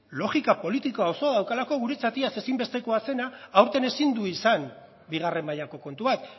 logika politikoa oso daukalako guretzat iaz ezinbestekoa zena aurten ezin du izan bigarren mailako kontu bat